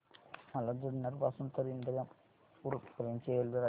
मला जुन्नर पासून तर इंदापूर पर्यंत ची रेल्वेगाडी सांगा